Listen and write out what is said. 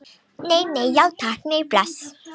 Nei, nei, já takk, nei, bless.